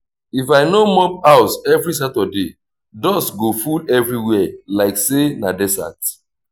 if i no mop house every saturday dust go full everywhere like say na desert.